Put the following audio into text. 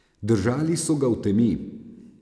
Držali so ga v temi.